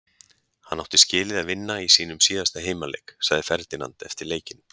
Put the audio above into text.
Hann átti skilið að vinna í sínum síðasta heimaleik, sagði Ferdinand eftir leikinn.